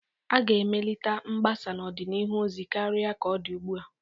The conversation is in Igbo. A ga-emelite mgbasa n'ọdịnihu ozi karịa ka ọ dị ugbua.